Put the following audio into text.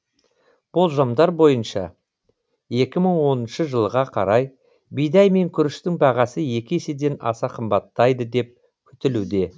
болжамдар бойынша екі мың оныншы жылға қарай бидай мен күріштің бағасы екі еседен аса қымбаттайды деп күтілуде